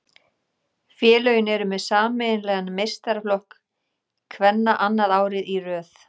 Félögin eru með sameiginlegan meistaraflokk kvenna annað árið í röð.